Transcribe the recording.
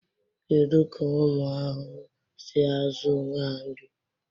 Kedu ka ụmụ ahụhụ si azụ onwe ha nri?